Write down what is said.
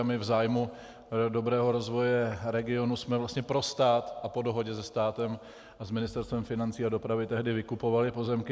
A my v zájmu dobrého rozvoje regionu jsme vlastně pro stát a po dohodě se státem a s Ministerstvem financí a dopravy tehdy vykupovali pozemky.